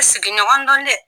I sigiɲɔgɔn don dɛ